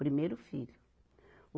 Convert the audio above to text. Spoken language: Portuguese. Primeiro filho. o